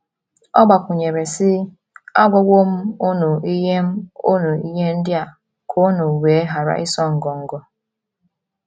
Ọ gbakwụnyere, sị: “ Agwawo m unu ihe m unu ihe ndị a ka unu wee ghara ịsụ ngọngọ.